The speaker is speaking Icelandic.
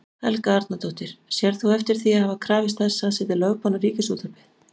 Helga Arnardóttir: Sérð þú eftir því að hafa krafist þess að setja lögbann á Ríkisútvarpið?